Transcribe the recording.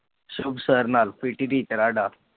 ਸੁਖ ਸਰ ਨਾ PT teacher ਆ ਸਾਡਾ